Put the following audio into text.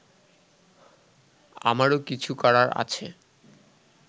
আমারও কিছু করার আছে